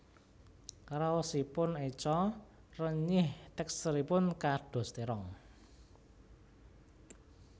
Raosipun eco renyih teksturipun kados terong